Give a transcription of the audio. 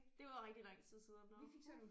Det var rigtig lang tid siden nu